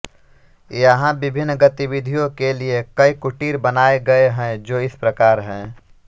यहाँ विभिन्न गतिविधियों के लिए कई कुटीर बनाए गए हैं जो इस प्रकार हैं